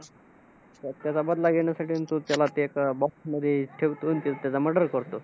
त्याचा घेण्यासाठी म्हणून तो त्याला ते एक box मध्ये ठेवतो आणि ते त्याचा murder करतो.